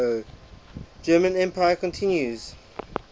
german empire continues